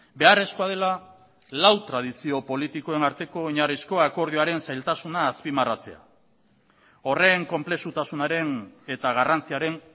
beharrezkoa dela lau tradizio politikoen arteko oinarrizko akordioaren zailtasuna azpimarratzea horren konplexutasunaren eta garrantziaren